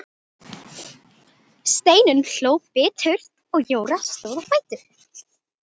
Steinunn hló biturt og Jóra stóð á fætur.